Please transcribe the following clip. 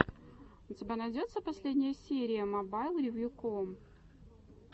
у тебя найдется последняя серия мобайлревьюком